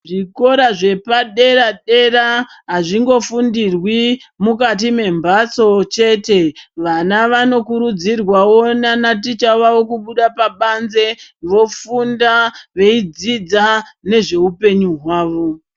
Zvikora zvepaderadera azvingofundirwi mukati membatso chete .Vana vanokuridzirwawo nanaticha vavo kubuda pabanze vofunda , veidzidza nezveupenyu hwavo.